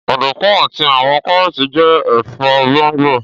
Ọdunkun ati awọn Karooti jẹ ẹfọ gbongbo